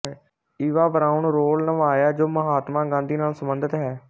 Eva Braun role ਨਿਭਾਇਆ ਜੋ ਮਹਾਤਮਾ ਗਾਂਧੀ ਨਾਲ ਸੰਬੰਧਿਤ ਹੈ